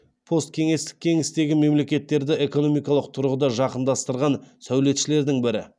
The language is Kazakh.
посткеңестік кеңістегі мемлекеттерді экономикалық тұрғыда жақындастырған сәулетшілердің бірі